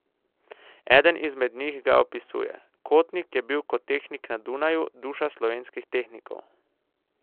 Eden izmed njih ga opisuje: "Kotnik je bil kot tehnik na Dunaju duša slovenskih tehnikov.